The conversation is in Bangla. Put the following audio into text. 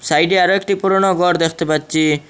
সাইডে আরও একটি পুরনো ঘর দেখতে পাচ্ছি।